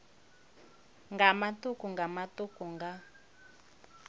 nga matuku nga matuku nga